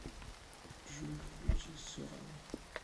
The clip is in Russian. джой включи соран